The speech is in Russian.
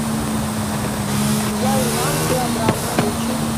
я иван ты абрам включи